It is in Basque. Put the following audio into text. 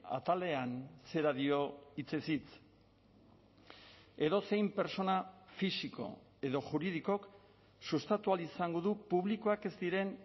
atalean zera dio hitzez hitz edozein pertsona fisiko edo juridikok sustatu ahal izango du publikoak ez diren